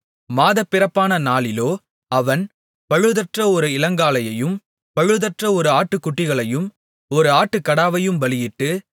மாதப்பிறப்பான நாளிலோ அவன் பழுதற்ற ஒரு இளங்காளையையும் பழுதற்ற ஆறு ஆட்டுக்குட்டிகளையும் ஒரு ஆட்டுக்கடாவையும் பலியிட்டு